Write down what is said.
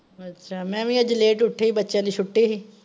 ਅੱਛਾ, ਮੈਂ ਵੀ ਅੱਜ late ਉੱਠੀ ਹੀ, ਬੱਚਿਆਂ ਦੀ ਛੁਟੀ ਹੀ।